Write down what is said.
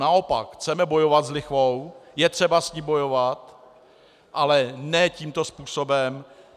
Naopak, chceme bojovat s lichvou, je třeba s ní bojovat, ale ne tímto způsobem.